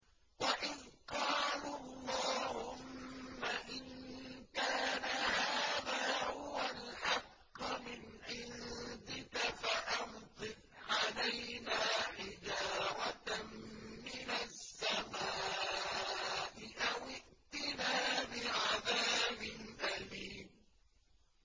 وَإِذْ قَالُوا اللَّهُمَّ إِن كَانَ هَٰذَا هُوَ الْحَقَّ مِنْ عِندِكَ فَأَمْطِرْ عَلَيْنَا حِجَارَةً مِّنَ السَّمَاءِ أَوِ ائْتِنَا بِعَذَابٍ أَلِيمٍ